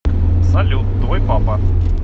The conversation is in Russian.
салют твой папа